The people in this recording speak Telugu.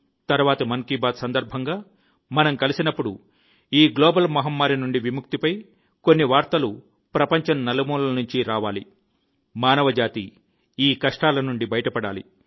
తరువాతి మన్ కి బాత్ సందర్భంగా మనం కలిసినప్పుడు ఈ గ్లోబల్ మహమ్మారి నుండి విముక్తి పై కొన్ని వార్తలు ప్రపంచం నలుమూలల నుండి రావాలి మానవజాతి ఈ కష్టాల నుండి బయటపడాలి